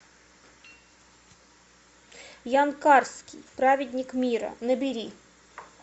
ян карский праведник мира набери